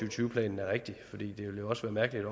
og tyve planen er rigtigt for det ville jo også være mærkeligt